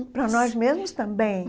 Para nós mesmos também.